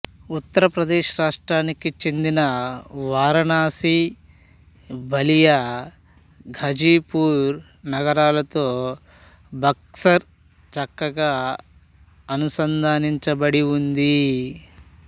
ఉత్తరప్రదేశ్ రాష్ట్రానికి చెందిన వారణాసి బలియా ఘాజీపూర్ నగరాలతో బక్సర్ చక్కాగా అనుసంధానించబడి ఉంది